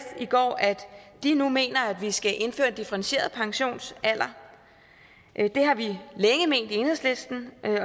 i går at de nu mener at vi skal indføre differentieret pensionsalder det har vi længe ment i enhedslisten